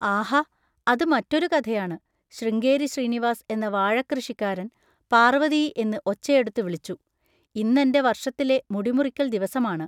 ആഹാ! അത് മറ്റൊരു കഥയാണ്. ശൃംഗേരി ശ്രീനിവാസ് എന്ന വാഴക്കൃഷിക്കാരൻ പാർവതീ എന്ന് ഒച്ചയെടുത്തു വിളിച്ചു: ഇന്നെൻ്റെ വർഷത്തിലെ മുടിമുറിക്കൽ ദിവസമാണ്.